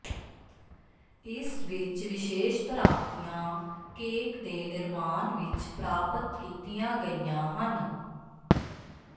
ਇਸ ਵਿਚ ਵਿਸ਼ੇਸ਼ ਪ੍ਰਾਪਤੀਆਂ ਕੇਕ ਦੇ ਨਿਰਮਾਣ ਵਿਚ ਪ੍ਰਾਪਤ ਕੀਤੀਆਂ ਗਈਆਂ ਹਨ